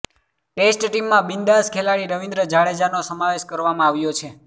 test ટીમમાં બિન્દાસ ખેલાડી રવીન્દ્ર જાડેજાનો સમાવેશ કરવામાં આવ્યો છે